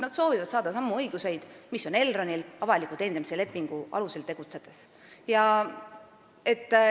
Nad soovivad saada samu õigusi, mis on Elronil avaliku teenindamise lepingu alusel tegutsedes.